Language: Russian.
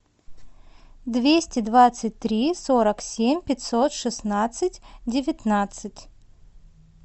двести двадцать три сорок семь пятьсот шестнадцать девятнадцать